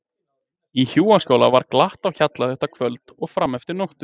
Í hjúaskála var glatt á hjalla þetta kvöld og fram eftir nóttu.